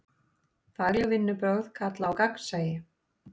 Fagleg vinnubrögð kalla á gagnsæi.